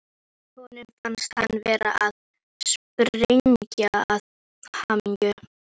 Honum fannst hann vera að springa af hamingju.